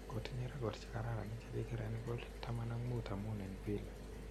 Kotinye record chekaran che kigeren golit 15 amun en Villa.